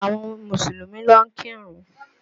Àwọn Mùsùlùmí lọ ń kírun